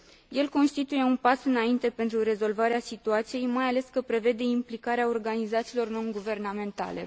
El constituie un pas înainte pentru rezolvarea situației, mai ales că prevede implicarea organizațiilor nonguvernamentale.